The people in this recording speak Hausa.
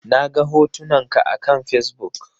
Naga hotunan ka akan Fesbuk